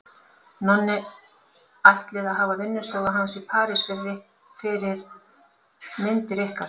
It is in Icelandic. Nonni ætlið að hafa vinnustofu hans í París fyrir myndir ykkar.